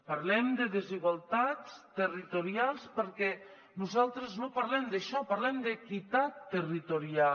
parlem de desigualtats territorials perquè nosaltres no parlem d’això parlem d’equitat territorial